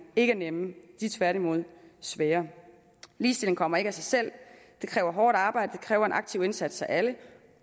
ikke er nemme de er tværtimod svære ligestilling kommer ikke af sig selv det kræver hårdt arbejde det kræver en aktiv indsats af alle